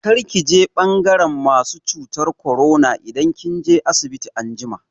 Kar ki je ɓangaran masu cutar korona idan kin je asibiti anjima!